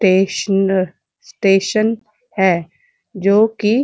टेसनर station है जोकि--